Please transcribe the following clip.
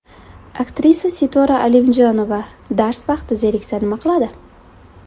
Aktrisa Sitora Alimjonova dars vaqti zeriksa nima qiladi?.